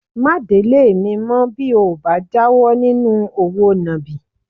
Má délé mi mọ́ bí o ò bá jáwọ́ nínú òwò nàbì